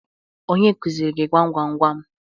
Onye kuzịrị gị gwam gwa gwam?